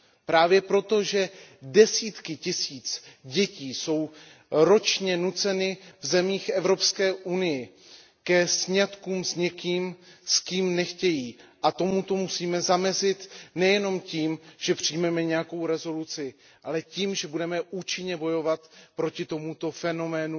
Právě proto, že desítky tisíc dětí jsou ročně nuceny v zemích EU ke sňatkům s někým, s kým nechtějí, a tomuto musíme zamezit nejenom tím, že přijmeme usnesení, ale tím, že budeme účinně bojovat proti tomuto fenoménu,